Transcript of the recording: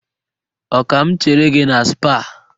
Ọ ka m chere gị na Spáà?